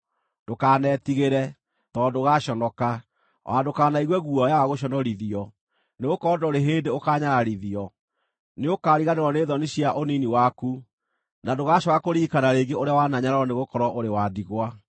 “Ndũkanetigĩre; tondũ ndũgaaconoka. O na ndũkanaigue guoya wa gũconorithio; nĩgũkorwo ndũrĩ hĩndĩ ũkaanyararithio. Nĩukariganĩrwo nĩ thoni cia ũnini waku, na ndũgacooka kũririkana rĩngĩ ũrĩa wananyararwo nĩgũkorwo ũrĩ wa ndigwa.